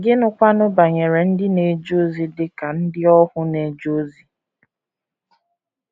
Gịnịkwanụ banyere ndị na - eje ozi dị ka ndị ohu na - eje ozi?